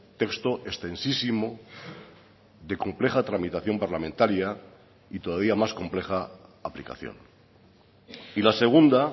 texto extensísimo de compleja tramitación parlamentaria y todavía más compleja aplicación y la segunda